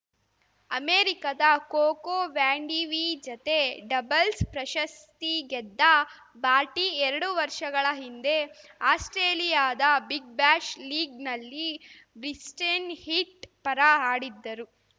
ಅಮೆರಿಕದ Coco Vandeweghe ಜತೆ doubles ಪ್ರಶಸ್ತಿ ಗೆದ್ದ ಬಾರ್ಟಿ ಎರಡು ವರ್ಷಗಳ ಹಿಂದೆ ಆಸ್ಪ್ರೇಲಿಯಾದ ಬಿಗ್‌ಬ್ಯಾಶ್‌ ಲೀಗ್‌ನಲ್ಲಿ ಬ್ರಿಸ್ಟೇನ್‌ ಹಿಟ್‌ ಪರ ಆಡಿದ್ದರು